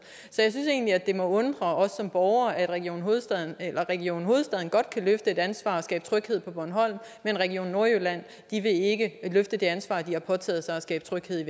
så jeg synes egentlig at det må undre os som borgere at region hovedstaden region hovedstaden godt kan løfte et ansvar og skabe tryghed på bornholm men at region nordjylland ikke vil løfte det ansvar de har påtaget sig og skabe tryghed